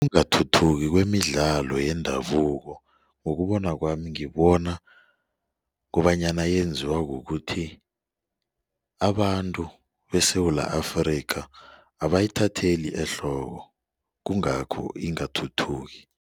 Ukungathuthuki kwemidlalo yendabuko ngokubona kwami ngibona kobanyana yenziwa kukuthi abantu beSewula Afrika abayithatheli ehloko kungakho ingathuthuki.